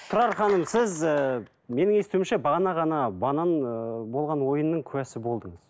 тұрар ханым сіз ііі менің естуімше бағана ғана банан ыыы болған ойынның куәсі болдыңыз